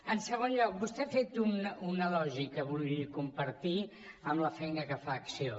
en segon lloc vostè ha fet una lògica vull compartir amb la feina que fa acció